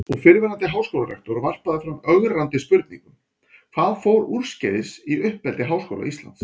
Og fyrrverandi háskólarektor varpaði fram ögrandi spurningum: Hvað fór úrskeiðis í uppeldi Háskóla Íslands?